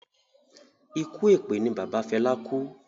Ikú èpè ni bàbá Fela kú